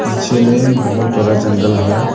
पीछे में बहुत बड़ा जंगल है।